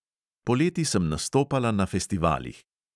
Poleti sem nastopala na festivalih.